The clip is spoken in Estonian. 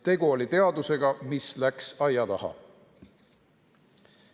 Tegu oli teadusega, mis läks aia taha.